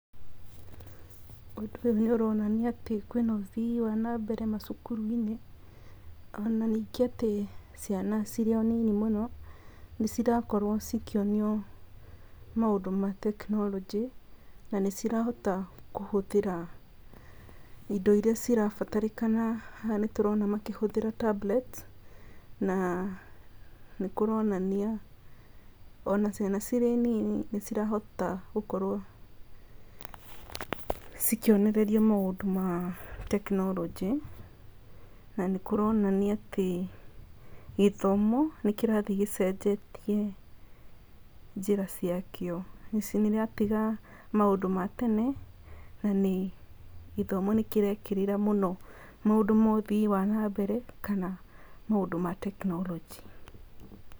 Ũndũ ũyũ nĩ ũronania atĩ kwĩ na ũthii wa na mbere macukuru-inĩ. Ona ningĩ atĩ ciana ona cirĩ nini mũno nĩcirakorwo cikĩonio maũndũ ma tekinoronjĩ na nĩcirahota kũhũthĩra indo iria cirabatarĩkana. Haha nĩtũrona makĩhũthĩra tablets na nĩ kũronania ona ciana cirĩ nini nĩcirahota gũkorwo ikĩonererio maũndũ ma tekinoronjĩ, nanĩ kũronania atĩ gĩthomo nĩkĩrathiĩ gĩcenjetiĩ njĩra cia kĩo. Nĩciratiga maũndũ ma tene na gĩthomo nĩkĩrekĩrĩra maũndũ ma ũthii wa na mbere kana maũndũ ma tekinoronjĩ.